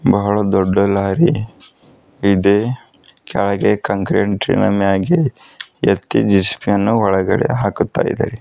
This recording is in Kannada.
ಬಹಳ ದೊಡ್ಡ ಲಾರಿ ಇದೆ ಕೆಳಗೆ ಕಂಕ್ರೆಂಟಿ ನ ಮ್ಯಾಗೆ ಎತ್ತಿ ಜೆ_ಸಿ_ಬಿ ಯನ್ನ ಒಳಗಡೆ ಹಾಕುತ್ತಾಇದೆ.